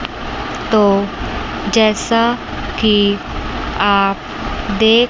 तो जैसा कि आप देख--